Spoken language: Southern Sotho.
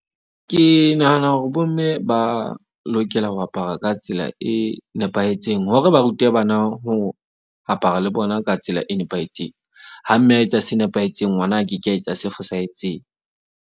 Ke nahana hore bomme ba lokela ho apara ka tsela e nepahetseng hore ba rute bana ho apara le bona ka tsela e nepahetseng. Ha mme a etsa se nepahetseng, ngwana a ke ke a etsa se fosahetseng.